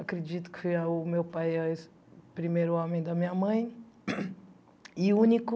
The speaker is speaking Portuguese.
Acredito que o meu pai é o primeiro homem da minha mãe e único.